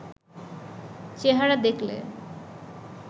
চেহারা দেখলে